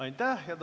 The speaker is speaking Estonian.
Aitäh!